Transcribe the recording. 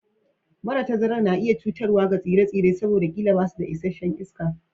Mara tazarar na iya zama cutarwa ga tsire-tsire saboda ƙila ba su da isasshen